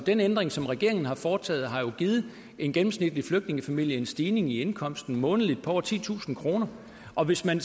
den ændring som regeringen har foretaget har jo givet en gennemsnitlig flygtningefamilie en stigning i indkomsten månedligt på over titusind kr og hvis man